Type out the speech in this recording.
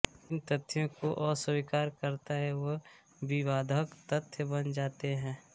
जिन तथ्यों को अस्वीकार करता है वह विवाधक तथ्य बन जाते है